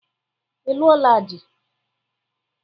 Ị lụola di?